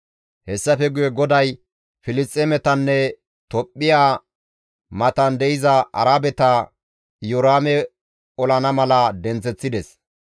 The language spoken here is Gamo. Hessafe guye GODAY Filisxeemetanne Tophphiya matan de7iza Arabeta Iyoraame olana mala denththeththides.